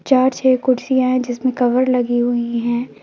चार छह कुर्सियां है जिसमें कवर लगी हुई है।